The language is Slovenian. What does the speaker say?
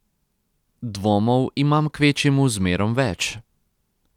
Dvomov imam kvečjemu zmerom več.